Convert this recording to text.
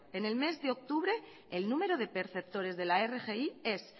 en el mes de octubre el número de perceptores de la rgi es